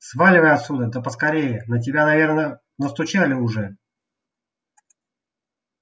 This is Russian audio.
сваливай отсюда да поскорее на тебя наверное настучали уже